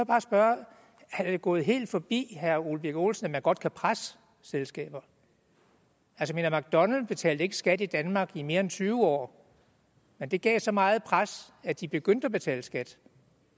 bare spørge er det gået helt forbi herre ole birk olesen at man godt kan presse selskaber mcdonalds betalte ikke skat i danmark i mere end tyve år men det gav så meget pres at de begyndte at betale skat